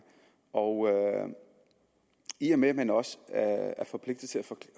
i og med at man også er forpligtet til at